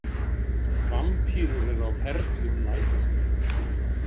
Vampírur eru á ferli um nætur.